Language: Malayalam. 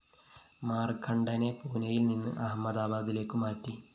മാര്‍ക്കണ്ഡനെ പൂനയില്‍ നിന്ന് അഹമ്മദാബാദിലേക്കു മാറ്റി